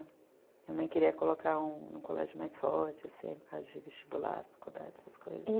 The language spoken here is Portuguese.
Minha mãe queria colocar um colégio mais forte, assim, por causa de vestibular, faculdade, essas coisas.